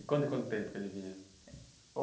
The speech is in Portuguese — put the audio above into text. E quanto e quanto tempo ele vinha?